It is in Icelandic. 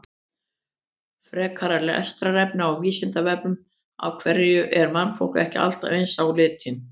Frekara lesefni á Vísindavefnum: Af hverju er mannfólkið ekki allt eins á litinn?